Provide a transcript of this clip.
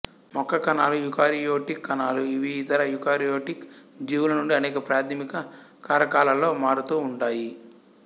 మొక్క కణాలు యూకారియోటిక్ కణాలు ఇవి ఇతర యూకారియోటిక్ జీవుల నుండి అనేక ప్రాథమిక కారకాలలో మారుతూ ఉంటాయి